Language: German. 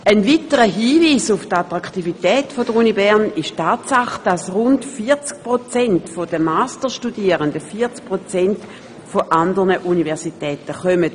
Ein weiterer Hinweis auf die Attraktivität der Universität Bern ist die Tatsache, dass rund 40 Prozent der Masterstudierenden von anderen Universitäten kommen.